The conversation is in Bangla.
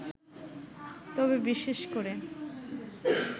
তবে বিশেষ করে